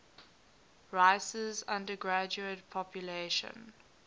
rice's undergraduate population